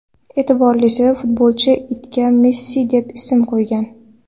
E’tiborlisi, futbolchi itiga Messi deb ism qo‘ygan.